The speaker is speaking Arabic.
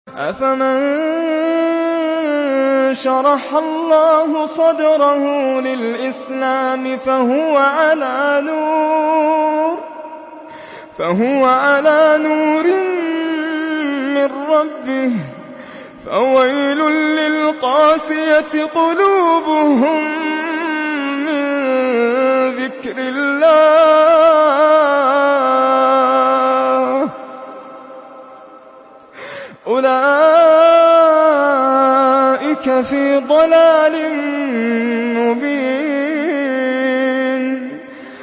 أَفَمَن شَرَحَ اللَّهُ صَدْرَهُ لِلْإِسْلَامِ فَهُوَ عَلَىٰ نُورٍ مِّن رَّبِّهِ ۚ فَوَيْلٌ لِّلْقَاسِيَةِ قُلُوبُهُم مِّن ذِكْرِ اللَّهِ ۚ أُولَٰئِكَ فِي ضَلَالٍ مُّبِينٍ